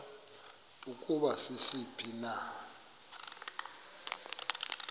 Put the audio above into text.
ukuba sisiphi na